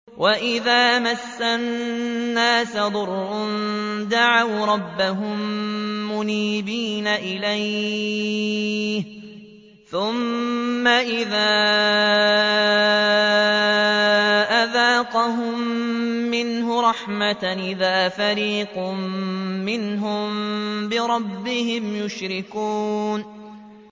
وَإِذَا مَسَّ النَّاسَ ضُرٌّ دَعَوْا رَبَّهُم مُّنِيبِينَ إِلَيْهِ ثُمَّ إِذَا أَذَاقَهُم مِّنْهُ رَحْمَةً إِذَا فَرِيقٌ مِّنْهُم بِرَبِّهِمْ يُشْرِكُونَ